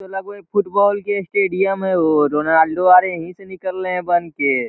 लगे हो फुटबॉल के स्टेडियम हे हो और रोनाल्डो आरे यही से निकले ह बनके।